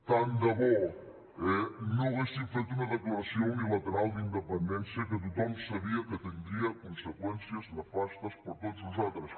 tant de bo eh no haguessin fet una declaració unilateral d’independència que tothom sabia que tindria conseqüències nefastes per a tots nosaltres